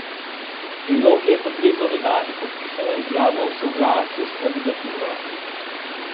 K prilogi je potrebno dodati podpisano izjavo o soglasju s kandidaturo.